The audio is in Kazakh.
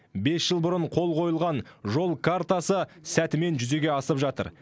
бес жыл бұрын қол қойылған жол картасы сәтімен жүзеге асып жатыр